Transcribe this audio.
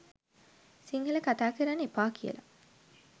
සිංහල කතා කරන්න එපා කියලා